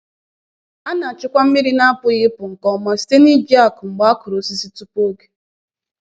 A na-achịkwa mmiri na-apụghị ịpụ nke ọma site n’iji ákụ mgbe a kụrụ osisi tupu oge.